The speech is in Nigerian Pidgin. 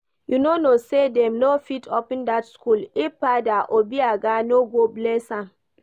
You no know say dem no fit open dat school if Father Obiagha no go bless am?